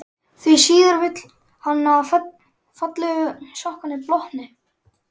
Því síður vill hann að fallegu sokkarnir blotni.